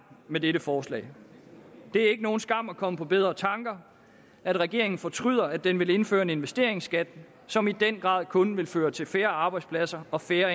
med dette forslag det er ikke nogen skam at komme på bedre tanker at regeringen fortryder at den vil indføre en investeringsskat som i den grad kun vil føre til færre arbejdspladser og færre